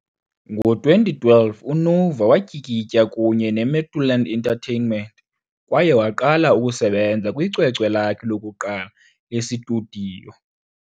Ngo-2012, uNova watyikitya kunye neMuthaland Entertainment kwaye waqala ukusebenza kwicwecwe lakhe lokuqala lesitudiyo.